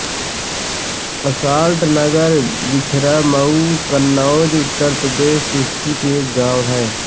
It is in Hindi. असाल्ट नगर छिबरामऊ कन्नौज उत्तर प्रदेश स्थित एक गाँव है